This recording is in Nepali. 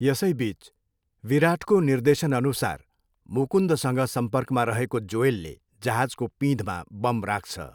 यसैबिच, विराटको निर्देशनअनुसार मुकुन्दसँग सम्पर्कमा रहेको जोएलले जहाजको पिँधमा बम राख्छ।